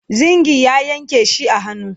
zingi ya Yanke shi a hannu